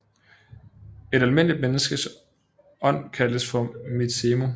Et almindeligt menneskes ånd kaldtes for mizemu